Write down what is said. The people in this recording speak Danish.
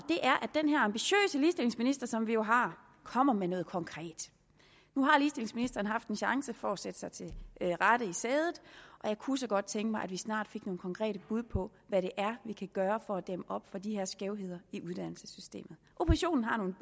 er som vi jo har kommer med noget konkret nu har ligestillingsministeren haft en chance for at sætte sig til rette i sædet og jeg kunne så godt tænke mig at vi snart fik nogle konkrete bud på hvad det er vi kan gøre for at dæmme op for de her skævheder i uddannelsessystemet oppositionen har nogle